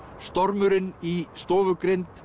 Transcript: stormurinn í